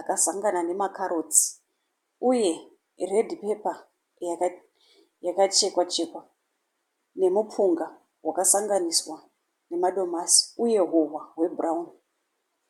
akazangana nemakarotsi uye redhi pepa yakachekwa chekwa nemupunga wakasanganiswa nemadomasi uye hohwa hwebhurauni.